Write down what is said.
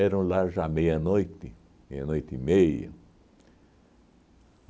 lá já meia-noite, meia-noite e meia.